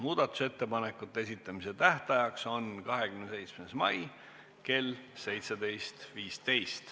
Muudatusettepanekute esitamise tähtajaks on 27. mai kell 17.15.